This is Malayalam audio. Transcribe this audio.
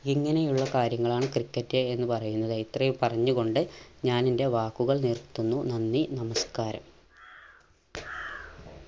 ഇങ്ങനെയുള്ള കാര്യങ്ങളാണ് ക്രിക്കറ്റ് എന്ന് പറയുന്നത് ഇത്രയും പറഞ്ഞു കൊണ്ട് ഞാനെൻറെ വാക്കുകൾ നിർത്തുന്നു നന്ദി നമസ്കാരം.